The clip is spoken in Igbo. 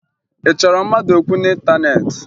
Ị chọrọ mmadụ okwu n'ịntaneetị?